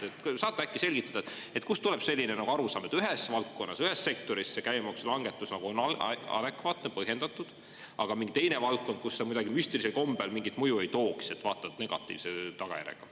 Saate äkki selgitada, et kust tuleb selline arusaam, et ühes valdkonnas, ühes sektoris see käibemaksulangetus on adekvaatne, põhjendatud, aga on mingi teine valdkond, kus ta kuidagi müstilisel kombel mingit mõju ei tooks, vaata et negatiivse tagajärjega.